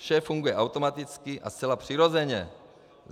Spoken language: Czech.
Vše funguje automaticky a zcela přirozeně.